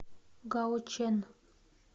гаочэн